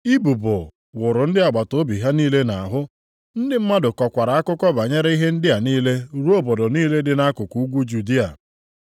Ibubo wụrụ ndị agbataobi ha niile nʼahụ, ndị mmadụ kọkwara akụkọ banyere ihe ndị a niile ruo obodo niile dị nʼakụkụ ugwu Judịa.